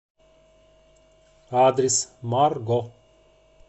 адрес марго